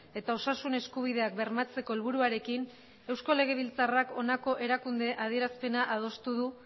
eta osasun eskubideak bermatzeko helburuarekin eusko legebiltzarrak honako erakunde adierazpena adostu du